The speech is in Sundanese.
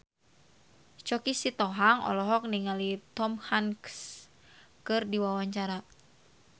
Choky Sitohang olohok ningali Tom Hanks keur diwawancara